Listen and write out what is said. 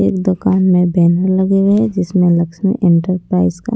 एक दुकान में बैनर लगे हुए है जिसमें लक्ष्मी एंटरप्राइज का--